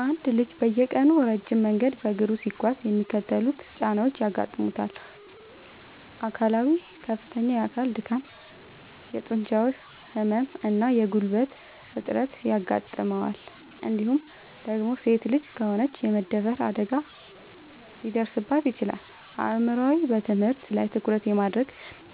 አንድ ልጅ በየቀኑ ረጅም መንገድ በእግሩ ሲጓዝ የሚከተሉት ጫናዎች ያጋጥሙታል፦ አካላዊ፦ ከፍተኛ የአካል ድካም፣ የጡንቻ ህመም እና የጉልበት እጥረት ያጋጥመዋል እንዲሁም ደግሞ ሴት ልጅ ከሆነች የመደፈር አደጋ ሊደርስባት ይችላል። አእምሯዊ፦ በትምህርት ላይ ትኩረት የማድረግ፣